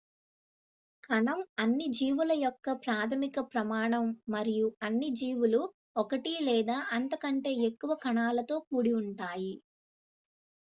కణం అన్ని జీవుల యొక్క ప్రాథమిక ప్రమాణం మరియు అన్ని జీవులు ఒకటి లేదా అంతకంటే ఎక్కువ కణాలతో కూడి ఉంటాయి